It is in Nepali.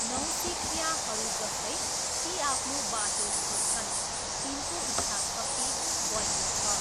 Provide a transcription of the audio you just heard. नौसिखियाहरू जस्तै, ती आफ्नो बाटो खोज्छन्, तिनको इच्छाशक्ति बलियो छ।